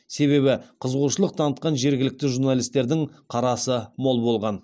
себебі қызығушылық танытқан жергілікті журналистердің қарасы мол болған